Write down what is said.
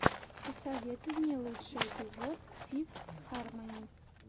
посоветуй мне лучший эпизод фифс хармони